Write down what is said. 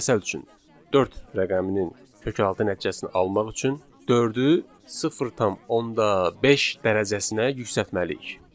Məsəl üçün, dörd rəqəminin kökaltı nəticəsini almaq üçün dördü 0.5 dərəcəsinə yüksəltməliyik.